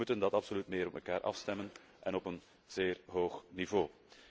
We moeten dat absoluut meer op elkaar afstemmen en op een zeer hoog niveau.